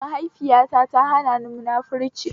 Maihaifita ta hanani munafurci